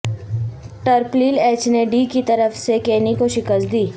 ٹرپلپل H نے D کی طرف سے کینی کو شکست دی